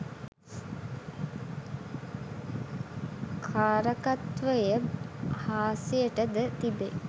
කාරකත්වය හාස්‍යයට ද තිබේ